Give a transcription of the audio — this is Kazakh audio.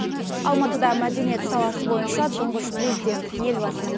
алматыда мәдениет саласы бойыншы тұңғыш президент елбасының